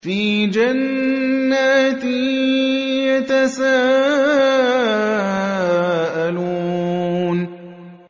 فِي جَنَّاتٍ يَتَسَاءَلُونَ